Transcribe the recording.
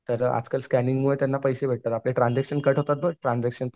तर आजकाल स्कँनिंग वर त्यांना पैसे भेटतात. तर आपले ट्रांझॅक्शन कट होतात ना ट्रांझॅक्शन